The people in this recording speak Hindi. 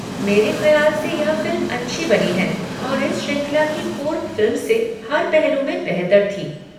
मेरे खयाल से यह फिल्म अच्छी बनी है, और इस श्रृंखला की पूर्व फिल्म से हर पहलू में बेहतर थी।